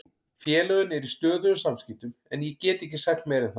Félögin eru í stöðugum samskiptum en ég get ekki sagt meira en það.